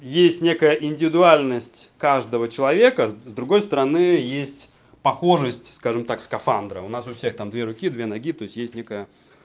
есть некая индивидуальность каждого человека с другой стороны есть похожесть скажем так скафандра у нас у всех там две руки две ноги то есть есть некая